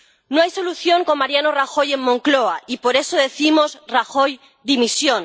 No hay solución con Mariano Rajoy en Moncloa, y por eso decimos Rajoy, dimisión.